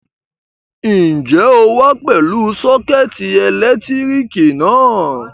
Ǹjẹ́ o wá pẹ̀lú sọ́kẹ́tì ẹ̀lẹ́tíríkì náà?